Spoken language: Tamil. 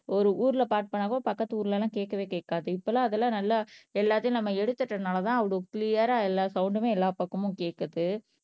ஒரு ஊர்ல பாட்டுபாடுனாக்க பக்கத்து ஊர்லலாம் கேட்கவே கேட்காது இப்பல்லாம் அதெல்லாம் நல்லா எல்லாத்தையும் நம்ம எடுத்துட்டதுனாலதான் அவ்வளவு கிளியரா எல்லா சவுண்ட்டுமே எல்லா பக்கமும் கேட்குது